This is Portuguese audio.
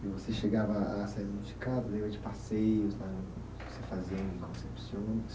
E você chegava a a sair, de passeios né, que você fazia em Concepción